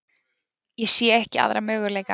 Ég sé ekki aðra möguleika.